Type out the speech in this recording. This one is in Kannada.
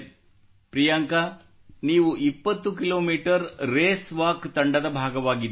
ಪ್ರಿಯಾಂಕಾ ನೀವು 20 ಕಿಲೋಮೀಟರ್ ರೇಸ್ ವಾಕ್ ತಂಡದ ಭಾಗವಾಗಿದ್ದಿರಿ